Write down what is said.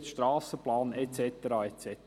Wir haben den Strassenplan und so weiter.